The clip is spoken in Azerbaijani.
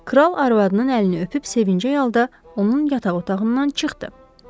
Kral arvadının əlini öpüb sevinclə, otağında onun yataq otağından çıxdı.